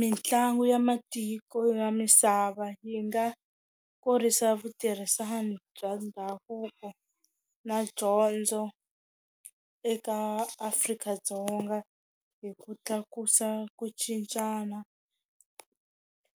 Mitlangu ya matiko ya misava yi nga kurisa vutirhisani bya ndhavuko na dyondzo eka Afrika-Dzonga hi ku tlakusa ku cincana